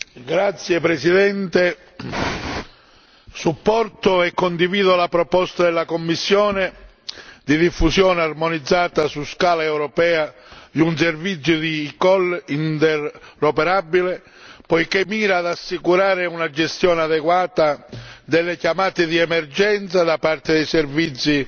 Signor Presidente, onorevoli colleghi, supporto e condivido la proposta della Commissione di diffusione armonizzata su scala europea di un servizio di eCall interoperabile, poiché mira ad assicurare una gestione adeguata delle chiamate di emergenza da parte dei servizi